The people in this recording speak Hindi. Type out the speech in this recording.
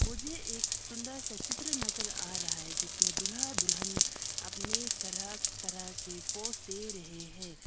मुझे एक सुंदर सा चित्र नजर आ रहा है जिसमें दूल्हा दुल्हन अपने तरह तरह के पोज दे रहे हैं।